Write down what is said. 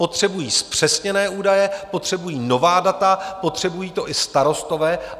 Potřebují zpřesněné údaje, potřebují nová data, potřebují to i starostové.